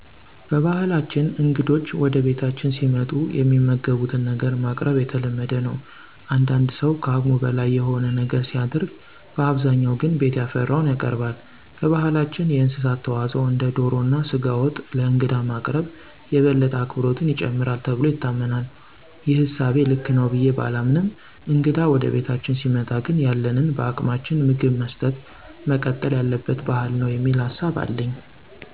በባህላችን እንግዶች ወደ ቤታችን ሲመጡ የሚመገቡትን ነገር ማቅረብ የተለመደ ነው። አንዳንድ ሠው ከአቅሙ በላይ የሆነ ነገር ሲያደርግ በአብዛኛው ግን ቤት ያፈራውን ያቀርባል። በባህላችን የእንስሳት ተዋፅዖ እንደ ዶሮ እና ስጋ ወጥ ለእንግዳ ማቅረብ የበለጠ አክብሮትን ይጨምራል ተብሎ ይታመናል። ይህ እሳቤ ልክ ነው ብዬ ባላምንም እንግዳ ወደ ቤታችን ሲመጣ ግን ያለንን በአቅማችን ምግብ መስጠጥ መቀጠል ያለበት ባህል ነው የሚል ሀሳብ አለኝ።